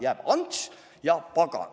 Jääb "Ants ja pagan".